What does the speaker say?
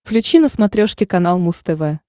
включи на смотрешке канал муз тв